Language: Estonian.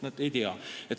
Nad ei tea.